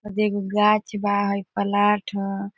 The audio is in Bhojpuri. ओदे एगो गाछ बा। हई प्लाट ह।